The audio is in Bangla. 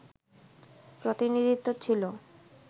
প্রতিনিধিত্ব ছিল